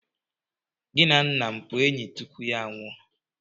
Gị na nna m abụ enyi tupu ya anwụọ?